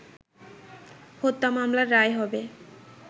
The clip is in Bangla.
হত্যা মামলার রায় হবে